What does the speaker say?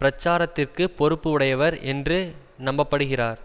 பிரச்சாரத்திற்கு பொறுப்பு உடையவர் என்று நம்பப்படுகிறார்